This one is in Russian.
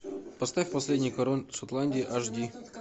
поставь последний король шотландии аш ди